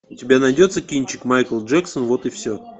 у тебя найдется кинчик майкл джексон вот и все